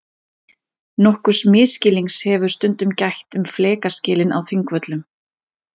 Nokkurs misskilnings hefur stundum gætt um flekaskilin á Þingvöllum.